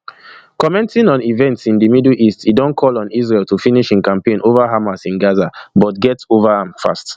commenting on events in di middle east e don call on israel to finish im campaign ova hamas in gaza but get ova am fast